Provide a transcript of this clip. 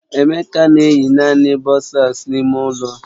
Emeka na eyi naanị bọsas n'ime ụlọ